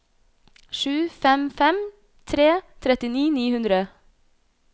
sju fem fem tre trettini ni hundre